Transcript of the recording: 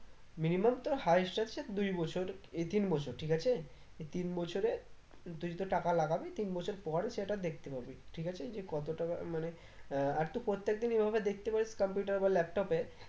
minimum তোর highest হচ্ছে দুই বছর এই তিন বছর ঠিক আছে এ তিন বছরে তুই তোর টাকা লাগাবি তিন বছর পর সেটা দেখতে পাবি ঠিক আছে যে কত টাকা মানে আর তো প্রত্যেক দিন এভাবে দেখতে পারিস computer বা laptop এ